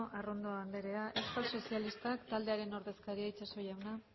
arrondo anderea euskal sozialistak taldearen ordezkaria itxaso jauna